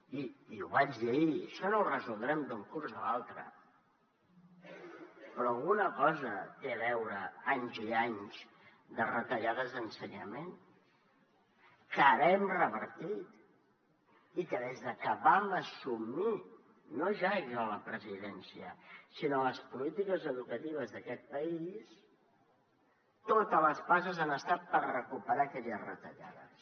i ho vaig dir ahir això no ho resoldrem d’un curs a l’altre però alguna cosa hi tenen a veure anys i anys de retallades d’ensenyament que ara hem revertit i que des de que vam assumir no ja jo la presidència sinó les polítiques educatives d’aquest país totes les passes han estat per recuperar aquelles retallades